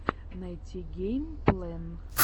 найти гэймплэн